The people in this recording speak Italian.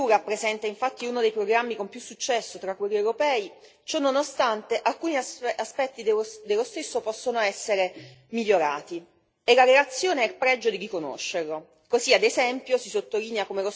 Se il programma Erasmus rappresenta infatti uno dei programmi con più successo tra quelli europei, ciononostante alcuni aspetti dello stesso possono essere migliorati e la relazione ha il pregio di riconoscerlo.